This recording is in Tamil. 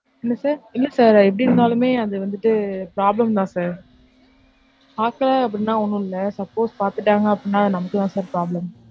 என்ன sir, இல்ல sir எப்படி இருந்தாலுமே அதுவந்து problem தான் sir பாக்கல அப்டினா ஒன்னும் இல்ல, suppose பாத்துட்டாங்க அப்படின்னா நமக்கு தான் sir problem.